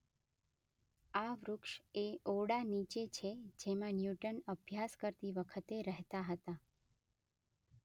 આ વૃક્ષ એ ઓરડા નીચે છે જેમાં ન્યૂટન અભ્યાસ કરતી વખતે રહેતાં હતા.